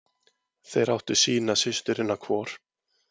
Þeir áttu sína systurina hvor.